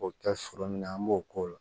O bɛ kɛ foro min na an b'o k'o la